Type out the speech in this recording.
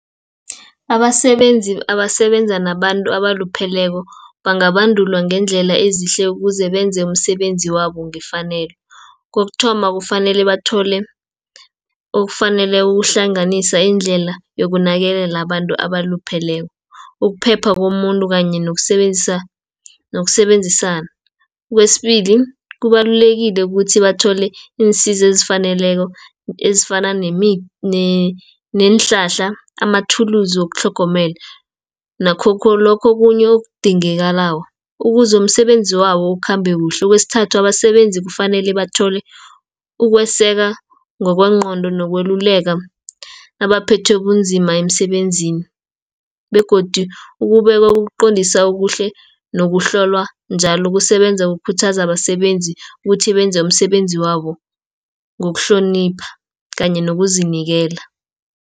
Abasebenzi abasebenza nabantu abalupheleko, bangabandulwa ngeendlela ezihle, ukuze benze umsebenzi wabo ngefanelo. Kokuthoma kufanele bathole okufaneleko ukuhlanganisa indlela yokunakelela abantu abalupheleko, ukuphepha komuntu kanye nokusebenzisana. Okwesibili kubalulekile ukuthi bathole iinsiza ezifaneleko, ezifana neenhlahla, amathulusu wokutlhogomela, nakhokho lokho kunye okudingekalako, ukuze umsebenzi wabo ukhambe kuhle. Kwesithathu abasebenzi kufanele bathole ukweseka ngokwengqondo, nokweluleka nabaphethwe bunzima emsebenzini, begodi ukuqondisa okuhle nokuhlolwa njalo kusebenza ukukhuthaza abasebenzi ukuthi benze umsebenzi wabo ngokuhlonipha, kanye ngokuzinikela.